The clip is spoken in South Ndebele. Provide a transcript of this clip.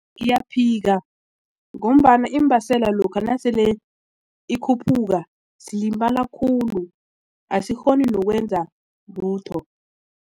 Ngiyaphika ngombana iimbaseli lokha nasele ikhuphuka silimala khulu asikghoni nokwenza lutho.